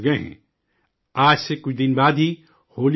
آج سے کچھ دن بعد ہی ہولی کا تہوار ہے